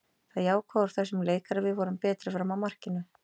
Það jákvæða úr þessum leik er að við vorum betri fram að markinu.